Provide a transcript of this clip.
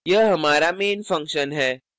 यह हमारा main function है